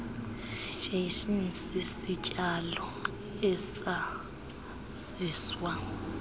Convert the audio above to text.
jackson sisityalo esaziswa